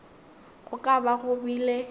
go ka ba go bile